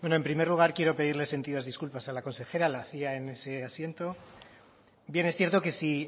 bueno en primer lugar quiero pedirles sentidas disculpas a la consejera la hacía en ese asiento bien es cierto que si